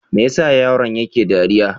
Me ya sa yaron yake dariya?